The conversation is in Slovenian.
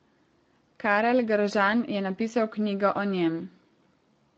Karel Gržan je napisal knjigo o njem.